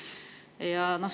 Just.